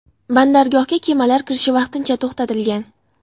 Bandargohga kemalar kirishi vaqtincha to‘xtatilgan.